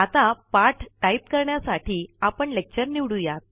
आतापाठ type करण्यासाठी आपण lecture निवडूया